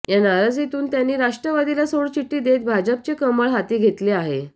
या नाराजीतून त्यांनी राष्ट्रवादीला सोडचिठ्ठी देत भाजपचे कमळ हाती घेतले आहे